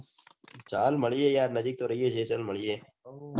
ચલ મળીયે યાર નજીક તો રહીએ